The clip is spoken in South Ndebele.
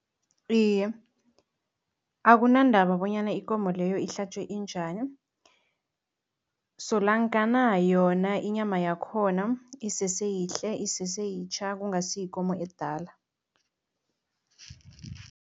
Iye, akunandaba bonyana ikomo leyo ihlatjwe injani, solonkana yona inyama yakhona isese yihle, isese yitjha, kungasi yikomo edala.